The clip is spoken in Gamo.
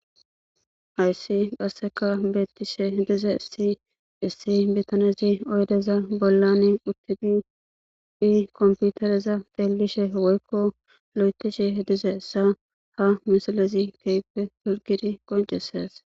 Hayssi qaseka betishe dizayssi issi bitanez oydezan bollan utid computereza xelishe woykko lo'ethishe dizaysa ha misilez beses.